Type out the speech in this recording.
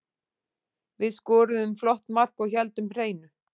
Við skoruðum flott mark og héldum hreinu.